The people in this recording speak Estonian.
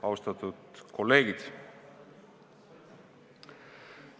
Austatud kolleegid!